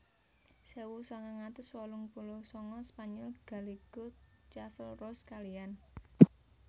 Sewu sangang atus wolung puluh sanga Spanyol Gallego Clavel Rose kaliyan